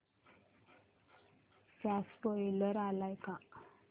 चा स्पोईलर आलाय का